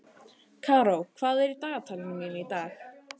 Karó, hvað er í dagatalinu mínu í dag?